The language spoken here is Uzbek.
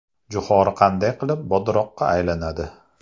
Jo‘xori qanday qilib bodroqqa aylanadi?